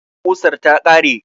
Ƙusar ta ƙare